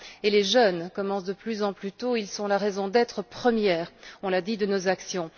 Les jeunes commencent de plus en plus tôt, ils sont la raison d'être première nous l'avons dit de nos actions.